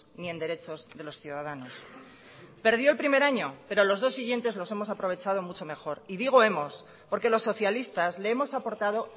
ni en derechos de los ciudadanos perdió el primer año pero los dos siguientes los hemos aprovechado mucho mejor y digo hemos porque los socialistas le hemos aportado